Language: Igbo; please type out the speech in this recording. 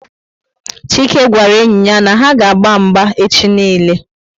chike gwara enyi ya na ha aga agba mgba echi niile